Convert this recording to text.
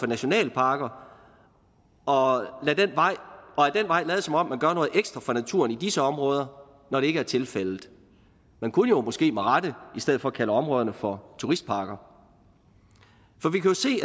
nationalparker og ad den vej lade som om man gør noget ekstra for naturen i disse områder når det ikke er tilfældet man kunne måske med rette i stedet for kalde områderne for turistparker